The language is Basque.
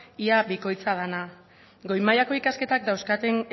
ia bikoitza dena goi mailako ikasketak dauzkaten